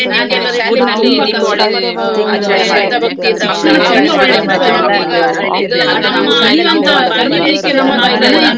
ನಾನೀಗ ಶಾಲೆ ಬಿಟ್ಟು ಒಂದು ಇಪ್ಪತ್ತು ವರ್ಷ ಆಯ್ತು, ಆವ್~ ಆದ್ರೂಸಾ ನಂಗೀಗ ಸ್~ ಎಲ್ಲಾ ನಮ್ಮ ಶಾಲಾ ದಿನಗಳು ತುಂಬಾ ನೆನಪಾಗ್ತದೆ. ನಂಗೆ.